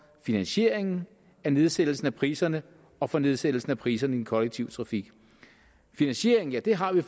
finansieringen af nedsættelsen af priserne og for nedsættelsen af priserne i den kollektive trafik finansieringen ja det har vi